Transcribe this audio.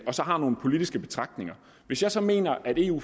og som har nogle politiske betragtninger hvis jeg så mener at eu